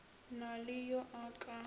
na le yo a ka